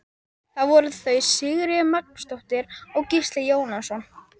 Það voru þau Sigríður Magnúsdóttir og Gísli Jónasson.